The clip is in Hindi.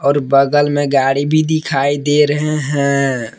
और बगल में गाड़ी भी दिखाई दे रहे हैं।